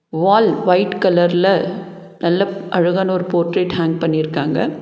வால் white கலர்ல நல்லா ப் அழகான ஒரு போர்ட்ரேட் ஹேங் பண்ணிருக்காங்க.